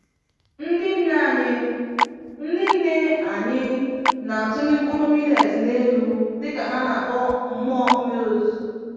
Ndị nne anyị Ndị nne anyị na-atụli mkpụrụ millet n'elu dịka ha na-akpọ mmụọ mmiri ozuzo.